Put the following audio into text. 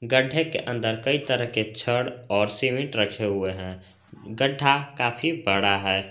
गड्ढे के अंदर कई तरह के छड़ और सीमेंट रखे हुए हैं गड्ढा काफी बड़ा है।